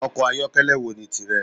Ọkọ̀ ayokele wo ni tìrẹ?